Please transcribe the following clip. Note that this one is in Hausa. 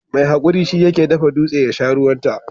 Mai hakuri shi yake dafa dutse har yasha ruwan ta.